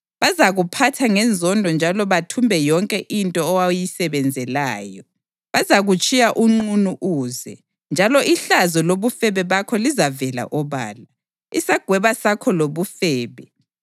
Bazakuphatha ngenzondo njalo bathumbe yonke into owayisebenzelayo. Bazakutshiya unqunu uze, njalo ihlazo lobufebe bakho lizavela obala. Isagweba sakho lobufebe